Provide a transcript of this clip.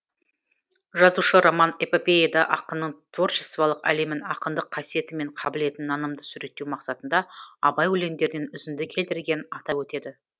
жазушы роман эпопеяда ақынның творчестволық әлемін ақындық қасиеті мен қабілетін нанымды суреттеу мақсатында абай өлеңдерінен үзінді келтіргенін атап өтеді